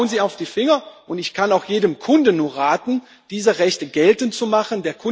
Schauen Sie ihm auf die Finger, und ich kann auch jedem Kunden nur raten, diese Rechte geltend zu machen.